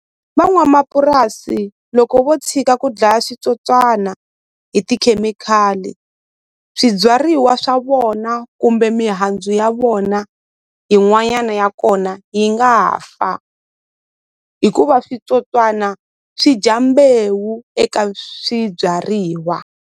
Van'wamapurasi loko vo tshika ku dlaya switsotswana hi tikhemikhali swibyariwa swa vona kumbe mihandzu ya vona yin'wanyana ya kona yi nga fa hikuva switsotswana swi dya mbewu eka swibyariwa.